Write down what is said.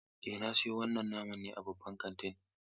Eh, na siyo wannan naman ne a babban kantin.